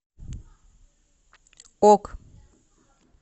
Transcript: ок